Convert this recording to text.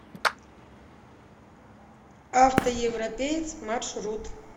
автоевропеец маршрут